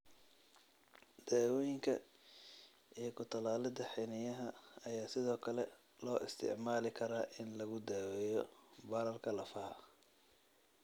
Daawooyinka iyo ku-tallaalidda xiniinyaha ayaa sidoo kale loo isticmaali karaa in lagu daaweeyo bararka lafaha.